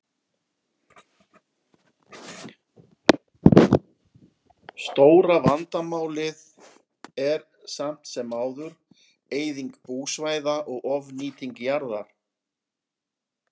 Stóra vandamálið er samt sem áður eyðing búsvæða og ofnýting jarðar.